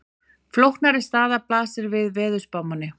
Flóknari staða blasir við veðurspámanni.